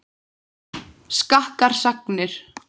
Skakkar sagnir.